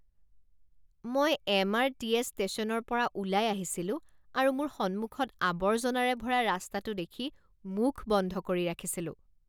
মই M. R. T. S. ষ্টেচনৰ পৰা ওলাই আহিছিলোঁ আৰু মোৰ সন্মুখত আৱৰ্জনাৰে ভৰা ৰাস্তাটো দেখি মুখ বন্ধ কৰি ৰাখিছিলোঁ।